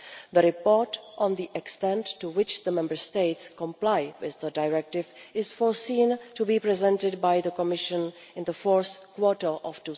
The report on the extent to which the Member States comply with the Directive is foreseen to be presented by the Commission in the fourth quarter of